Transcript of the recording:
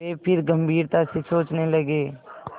वे फिर गम्भीरता से सोचने लगे